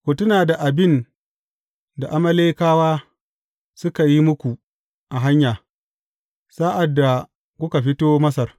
Ku tuna da abin da Amalekawa suka yi muku a hanya, sa’ad da kuka fito Masar.